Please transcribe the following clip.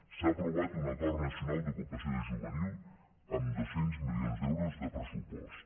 s’ha aprovat un acord nacional d’ocupació juvenil amb dos cents milions d’euros de pressupost